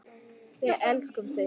Við elskum þig!